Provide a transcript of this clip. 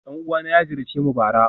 Dan uwana ya ziyarce mu bara